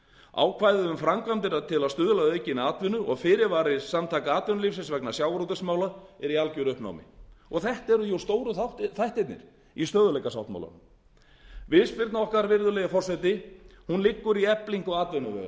um framkvæmdina til að stuðla að aukinni atvinnu og fyrirvari samtaka atvinnulífsins vegna sjávarútvegsmála er í algeru uppnámi þetta eru stóru þættirnir í stöðugleikasáttmálanum viðspyrna okkar virðulegi forseti liggur í eflingu atvinnuveganna